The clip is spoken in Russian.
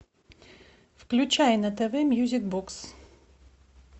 включай на тв мьюзик бокс